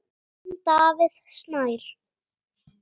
Þinn, Davíð Snær.